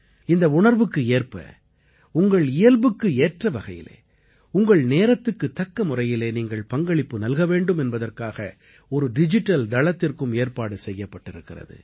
இந்த உணர்வுக்கு ஏற்ப உங்கள் இயல்புக்கு ஏற்ற வகையிலே உங்கள் நேரத்துக்குத் தக்க முறையிலே நீங்கள் பங்களிப்பு நல்க வேண்டும் என்பதற்காக ஒரு டிஜிட்டல் தளத்திற்கும் ஏற்பாடு செய்யப்பட்டிருக்கிறது